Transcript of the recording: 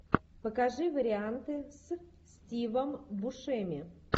покажи варианты с стивом бушеми